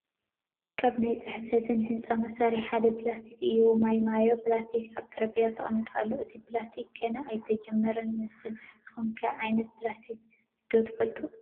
ካብ ናይ ፅሕፈትን ህንፃን መሳርሕታት ሓደ ኘላስተር እዩ፡፡ ማይ ማዮ ኘላስተር ኣብ ጠረጼዛ ተቐሚጡ ኣሎ፡፡ እቲ ኘላስተር ገና ኣይተጀመረን ዝመስል፡፡ ንስኹም ከ ዓይነታት ኘላስተር ዶ ትፈልጡ?